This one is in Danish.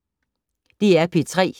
DR P3